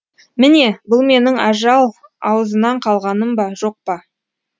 міне бұл менің ажал аузынан қалғаным ба жоқ па